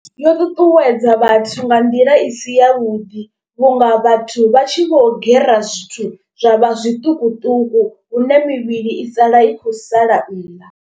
Yo ṱuṱuwedza vhathu nga nḓila i si ya vhuḓi. Vhunga vhathu vha tshi vho gera zwithu zwa vha zwiṱukuṱuku hune mivhili i sala i khou sala nnḓa.